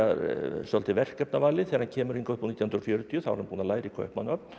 svolítið verkefnavalið þegar hann kemur hingað upp úr nítján hundruð og fjörutíu þá er hann búinn að læra í Kaupmannahöfn